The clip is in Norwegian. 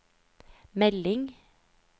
melding